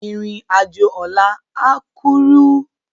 Irin ájó òlà á kúrú